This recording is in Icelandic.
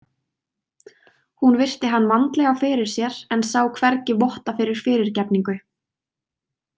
Hún virti hann vandlega fyrir sér en sá hvergi votta fyrir fyrirgefningu.